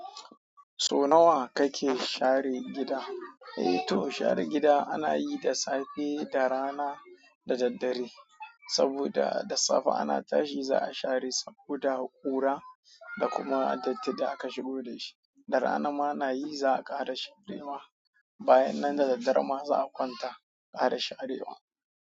So nawa kake share gida? Eh to share gida ana yi da safe, da rana da daddare. Saboda da safe ana tashi za a share saboda ƙura da kuma datti da aka shigo da shi. Da rana ma ana yi za a ƙara sharewa. Bayan nan da daddare ma za a kwanta a ƙara sharewa.